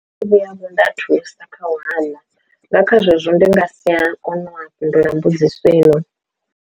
Vhuya nda thusa kha u hwama nga kha zwezwo ndi nga si a kona u fhindula mbudziso yone.